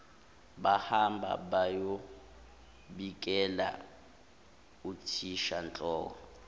bahamba bayobikela uthishanhloko